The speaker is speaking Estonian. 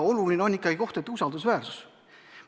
Oluline on ikkagi kohtute usaldusväärsus.